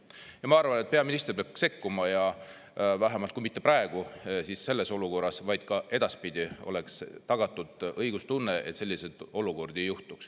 Ja ma arvan, et peaminister peab sekkuma, ja vähemalt kui mitte praegu, siis selles olukorras, vaid ka edaspidi oleks tagatud õiglustunne, et selliseid olukordi ei juhtuks.